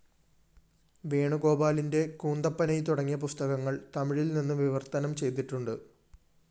വേണുഗോപാലിന്റെ കൂന്തപ്പനൈ തുടങ്ങിയ പുസ്തകങ്ങള്‍ തമിഴില്‍നിന്ന് വിവര്‍ത്തനം ചെയ്തിട്ടുണ്ട്